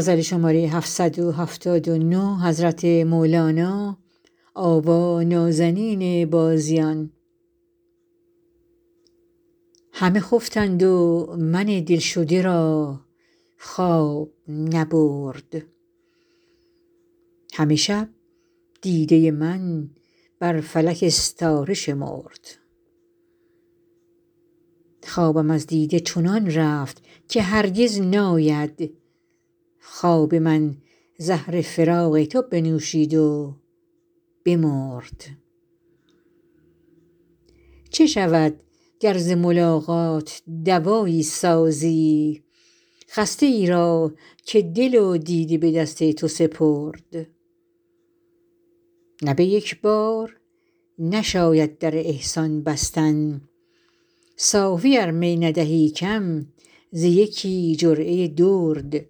همه خفتند و من دلشده را خواب نبرد همه شب دیده من بر فلک استاره شمرد خوابم از دیده چنان رفت که هرگز ناید خواب من زهر فراق تو بنوشید و بمرد چه شود گر ز ملاقات دوایی سازی خسته ای را که دل و دیده به دست تو سپرد نه به یک بار نشاید در احسان بستن صافی ار می ندهی کم ز یکی جرعه درد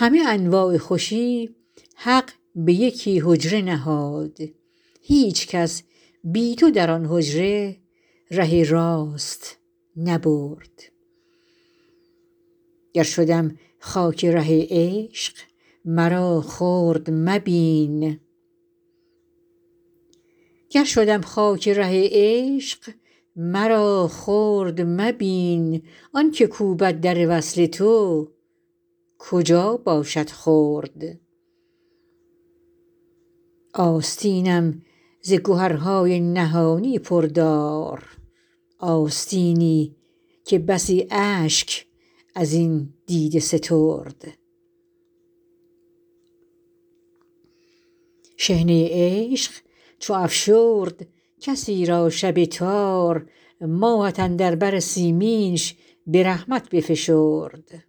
همه انواع خوشی حق به یکی حجره نهاد هیچ کس بی تو در آن حجره ره راست نبرد گر شدم خاک ره عشق مرا خرد مبین آنک کوبد در وصل تو کجا باشد خرد آستینم ز گهرهای نهانی پر دار آستینی که بسی اشک از این دیده سترد شحنه عشق چو افشرد کسی را شب تار ماهت اندر بر سیمینش به رحمت بفشرد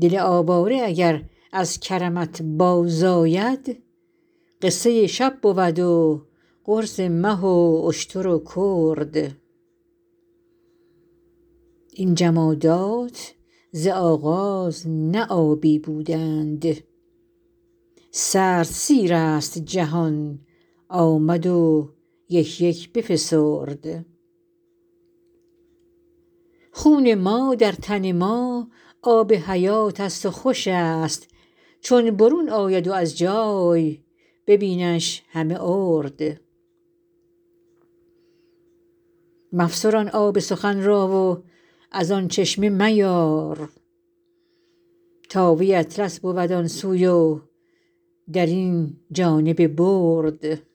دل آواره اگر از کرمت بازآید قصه شب بود و قرص مه و اشتر و کرد این جمادات ز آغاز نه آبی بودند سرد سیرست جهان آمد و یک یک بفسرد خون ما در تن ما آب حیاتست و خوش است چون برون آید از جای ببینش همه ارد مفسران آب سخن را و از آن چشمه میار تا وی اطلس بود آن سوی و در این جانب برد